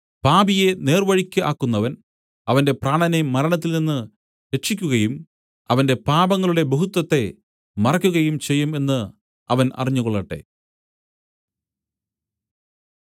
പാപിയെ നേർവഴിയ്ക്ക് ആക്കുന്നവൻ അവന്റെ പ്രാണനെ മരണത്തിൽനിന്ന് രക്ഷിയ്ക്കുകയും അവന്റെ പാപങ്ങളുടെ ബഹുത്വത്തെ മറയ്ക്കുകയും ചെയ്യും എന്ന് അവൻ അറിഞ്ഞുകൊള്ളട്ടെ